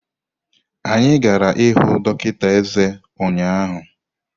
Anyị gara ịhụ dọkịta eze ụnyahụ.